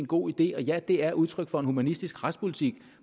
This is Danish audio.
god idé og ja det er udtryk for en humanistisk retspolitik